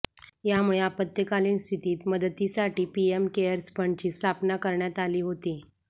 यामुळे आपत्कालीन स्थितीत मदतीसाठी पीएम केअर्स फंडची स्थापना करण्यात आली होती